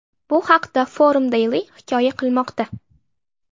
Bu haqda Forum Daily hikoya qilmoqda .